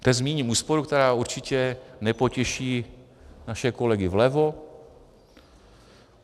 Teď zmíním úsporu, která určitě nepotěší naše kolegy vlevo.